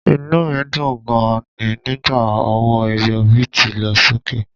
Inú mi dùn gan-an ni nígbà owó ẹyọ bíìtì lọ sókè